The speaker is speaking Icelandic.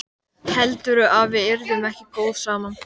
Heldurðu að við yrðum ekki góð saman?